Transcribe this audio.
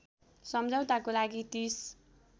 समझौताको लागि ३०